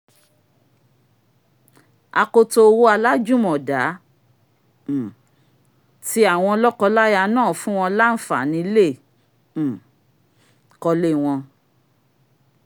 akoto owó alájùmọ̀dá um ti àwọn lọ́kọláya náà fún wọn lánfàní lè um kọ́lé wọn